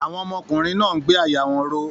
Àwọn ọmọkùnrin náà ń gbé àyà wọn ró.